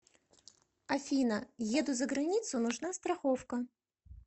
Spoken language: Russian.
афина еду за границу нужна страховка